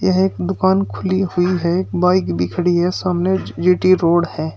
यह एक दुकान खुली हुई है बाइक भी खड़ी है सामने जी_टी रोड है।